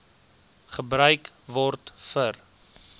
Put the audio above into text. gebruik word vir